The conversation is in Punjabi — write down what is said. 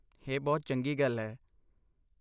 ਇਹ ਬਹੁਤ ਚੰਗੀ ਗੱਲ ਹੈ!